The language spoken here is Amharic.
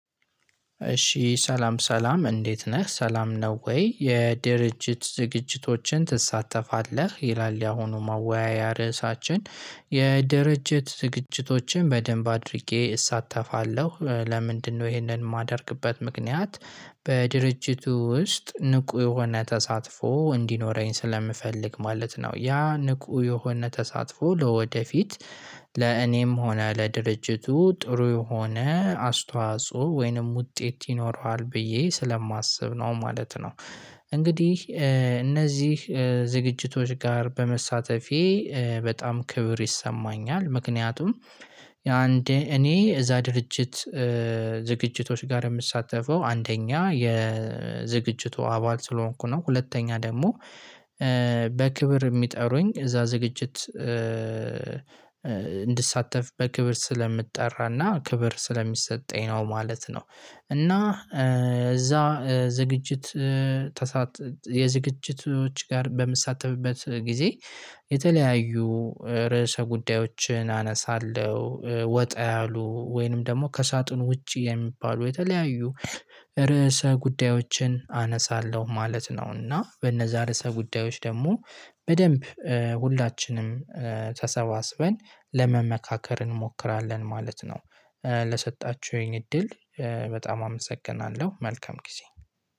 እሺ ሰላም ሰላም እንዴት ነህ ሰላም ነው ወይ? የድርጅት ዝግጅቶችን ትሳተፋለህ ይላል ያሁኑ ማወያያ ርዕሳችን። የድርጅት ዝግጅቶችን በደንብ አድርጌ እሳተፋለሁ ለምንድነው ይሄንን የማደርግበት ምክንያት? በድርጅቱ ውስጥ ንቁ የሆነ ተሳትፎ እንዲኖረኝ ስለምፈልግ ማለት ነው ያ ንቁ የሆነ ተሳትፎ ለወደፊት ለእኔም ሆነ ለድርጅቱ ጥሩ የሆነ አስተዋጽኦ ወይንም ውጤት ይኖረዋል ብዬ ስለማስብ ነው ማለት ነው። እንግዲህ እነዚህ ዝግጅቶች ጋር በመሳተፌ በጣም ክብር ይሰማኛል። ምክንያቱም የአንድ እኔ እዛ ድርጅት። ዝግጅቶች ጋር የምሳተፈው አንደኛ የዝግጅቱ አባል ስለሆንኩ ነው። ሁለተኛ ደግሞ በክብር የሚጠሩኝ እዛ ዝግጅት እንድሳተፍ በክብር ስለምትጠራና ክብር ስለሚሰጠኝ ነው ማለት ነው። እና እዛ ዝግጅት የዝግጅቶች ጋር በምሳተፍበት ጊዜ። የተለያዩ ርዕሰ ጉዳዮችን አነሳለሁ ወጣ ያሉ ወይንም ደግሞ ከሳጥን ውጪ የሚባሉ የተለያዩ ርዕሰ ጉዳዮችን አነሳለሁ ማለት ነው። እና በነዛ ርዕሰ ጉዳዮች ደግሞ በደንብ ሁላችንም ተሰባስበን ለመመካከር እንሞክራለን ማለት ነው። ለሰጣችሁኝ እድል በጣም አመሰግናለሁ መልካም ጊዜ።